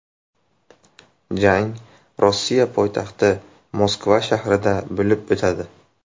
Jang Rossiya poytaxti Moskva shahrida bo‘lib o‘tadi.